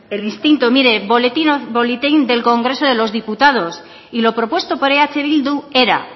el instinto mire boletín del congreso de los diputados y lo propuesto por eh bildu era